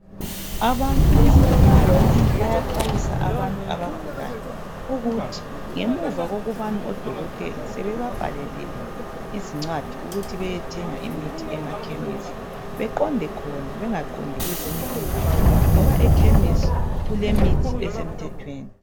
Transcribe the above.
Abantu bezempilakahle bayaxwayisa abantu abagulayo ukuthi ngemuva kokubana odokotela sebebabhalelile izincwadi ukuthi beyethenga imithi emakhemisi, beqonde khona bengaqondi kwezinye indawo ngoba ekhimisi kulemithi esemthethweni.